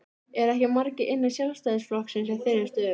Eru ekki margir innan Sjálfstæðisflokksins í þeirri stöðu?